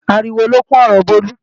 Ariwo lókún ọ̀rọ Bólú.